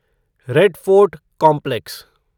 red Fort complex